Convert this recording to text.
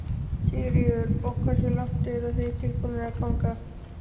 Sigríður: Og hversu langt eru þið tilbúnir að ganga?